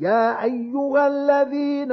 يَا أَيُّهَا الَّذِينَ